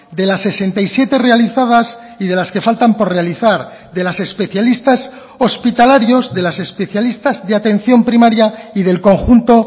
de las sesenta y siete realizadas y de las que faltan por realizar de las especialistas hospitalarios de las especialistas de atención primaria y del conjunto